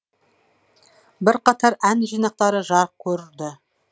бірқатар ән жинақтары жарық көрді